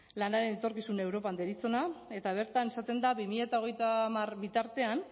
lanaren etorkizuna europan deritzona eta bertan esaten da bi mila hogeita hamar bitartean